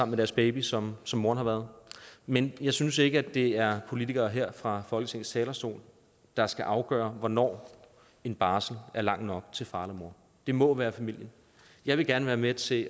med deres baby som som moren har været men jeg synes ikke at det er politikere her fra folketingets talerstol der skal afgøre hvornår en barsel er lang nok til far eller mor det må være familien jeg vil gerne være med til